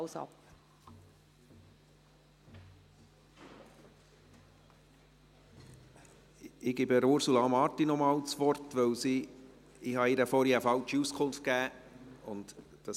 Ich gebe Ursula Marti noch einmal das Wort, weil ich ihr vorhin eine falsche Auskunft gegeben habe.